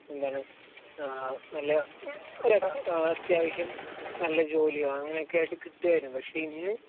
എന്താണ്, നല്ല അത്യാവശ്യം നല്ല ജോലിയോ അങ്ങനെയൊക്കെയായിട്ട് കിട്ടുമായിരുന്നു. പക്ഷെ ഇന്ന്